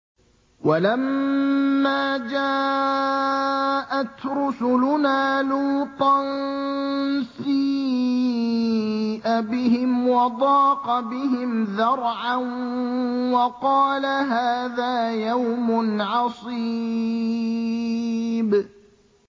وَلَمَّا جَاءَتْ رُسُلُنَا لُوطًا سِيءَ بِهِمْ وَضَاقَ بِهِمْ ذَرْعًا وَقَالَ هَٰذَا يَوْمٌ عَصِيبٌ